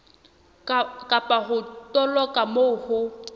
kapa ho toloka moo ho